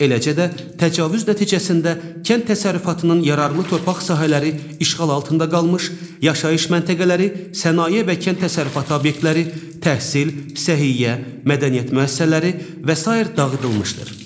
Eləcə də təcavüz nəticəsində kənd təsərrüfatının yararlı torpaq sahələri işğal altında qalmış, yaşayış məntəqələri, sənaye və kənd təsərrüfatı obyektləri, təhsil, səhiyyə, mədəniyyət müəssisələri və sair dağıdılmışdır.